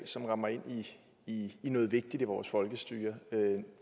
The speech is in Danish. som rammer ind i noget vigtigt i vores folkestyre